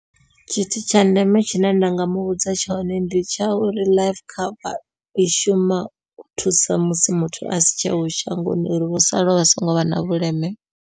Tshithu tsha ndeme tshine nda nga muvhudza tshone ndi tsha uri life cover i shuma u thusa musi muthu a si tsheho shangoni uri vho salaho vha songo vha na vhuleme.